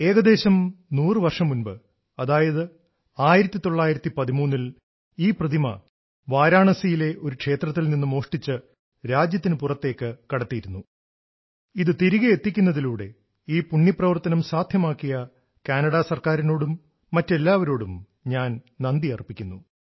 ഏകദേശം 100 വർഷം മുമ്പ് അതായത് 1913 ൽ ഈ പ്രതിമ വാരണസിയിലെ ഒരു ക്ഷേത്രത്തിൽ നിന്ന് മോഷ്ടിച്ച് രാജ്യത്തിന് പുറത്തേക്ക് കടത്തിയിരുന്നു ഇത് തിരികെ എത്തിക്കുന്നതിലൂടെ ഈ പുണ്യപ്രവർത്തനം സാധ്യമാക്കിയ കാനഡ സർക്കാരിനോടും മറ്റെല്ലാവരോടും ഞാൻ നന്ദിയർപ്പിക്കുന്നു